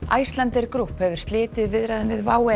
Icelandair Group hefur slitið viðræðum við WOW